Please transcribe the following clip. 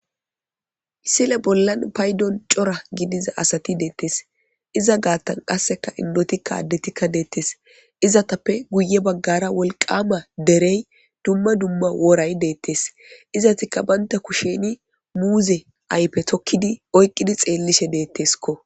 Misile bolla paydon cora gidiza asat detes. Iza gatan qaseka indotika adetikka detes, izetappe guye bagara wolqama derey dumma dumma woray betes. Izetika banta kushen muze ayfe tokid oykid detesko.